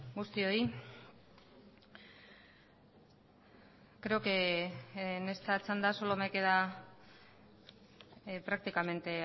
guztioi creo que en esta chanda solo me queda prácticamente